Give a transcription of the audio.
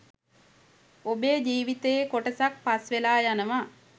ඔබේ ජීවිතයේ කොටසක් පස් වෙලා යනවා